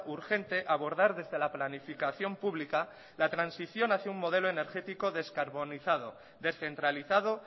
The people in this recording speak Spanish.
urgente abordar desde la planificación pública la transición hacia un modelo energético descarbonizado descentralizado